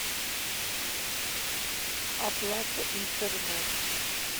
оплата интернет